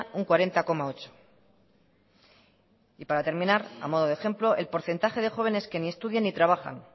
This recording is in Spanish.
un cuarenta coma ocho por ciento y para terminar a modo de ejemplo el porcentaje de jóvenes que ni estudian ni trabajan